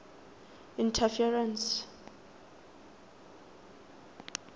interference